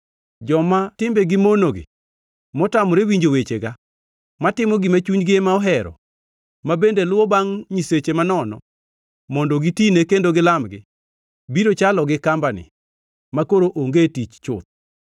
Joma timbegi mono gi, motamore winjo wechega, matimo gima chunygi ema ohero, ma bende luwo bangʼ nyiseche manono mondo gitine kendo gilamgi, biro chalo gi kambani makoro onge tich chuth!’